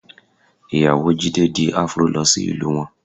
Ìyàwó Jídé di Afro lọ sí ìlú wọn